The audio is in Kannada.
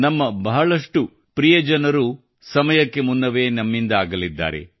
ನಮ್ಮ ಬಹಳಷ್ಟು ಪ್ರಿಯರು ಸಮಯಕ್ಕೂ ಮುನ್ನವೇ ನಮ್ಮಿಂದ ಅಗಲಿದ್ದಾರೆ